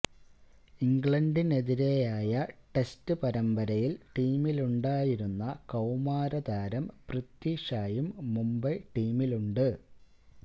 ഇംഗ്ലണ്ടിനെതിരെയ test പരമ്പരയില് ടീമിലുണ്ടായരുന്ന കൌമാരതാരം പൃഥ്വി ഷായും മുംബൈ ടീമിലുണ്ട്